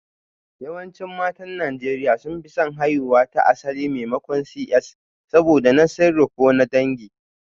Yawancin matan Najeriya sun fi son haihuwa ta asali maimakon CS saboda na sirri ko na dangi